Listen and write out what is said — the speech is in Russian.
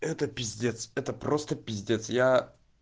это пиздец это просто пиздец я